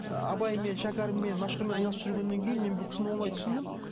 ы абаймен шәкәріммен машһүрмен айналысып жүргеннен кейін мен бұл кісіні оңай түсіндім